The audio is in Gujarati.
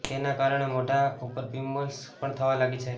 તેના કારણે મોઢા ઉપર પીમ્પલ્સ પણ થવા લાગે છે